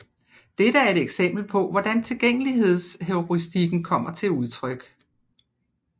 Dette er et eksempel på hvordan tilgængelighedsheuristikken kommer til udtryk